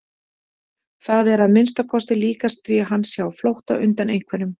Það er að minnsta kosti líkast því að hann sé á flótta undan einhverjum.